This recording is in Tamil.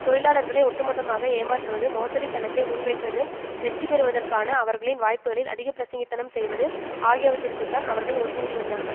தொழிலாளர்களை ஒட்டுமொத்தமாக ஏமாற்றுவது மோசடி திட்டத்தை முன்வைப்பது வெற்றி பெறுவதற்கான அவர்களின் வாய்ப்புகளில் அதிகபிரசங்கித்தனம் செய்வது ஆகியவற்றிற்கு தான் அவர்கள் ஒத்து ஊதி வந்தார்கள்